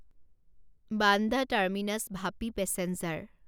Bandra terminus Vapi passenger